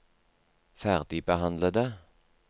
ferdigbehandlede